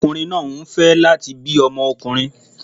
Ọkùnrin náà ń fẹ́ ọmọkùnrin